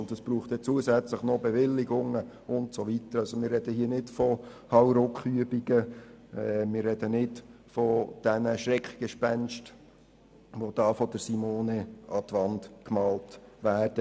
Und es braucht dann zusätzlich noch Bewilligungen usw. Wir sprechen also nicht von Hauruck-Übungen und wir sprechen nicht von den Schreckgespenstern, die hier von Simone an die Wand gemalt werden.